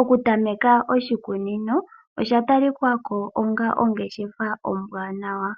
Okutameka oshikunino osha talika ko onga ongeshefa ombwaanawa.